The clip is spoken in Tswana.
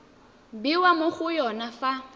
bewa mo go yone fa